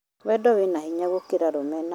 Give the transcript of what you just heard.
Wendo wĩna hinya gũkĩra rũmena